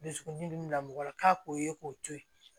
Dusukun min na mɔgɔ la k'a k'o ye k'o to ye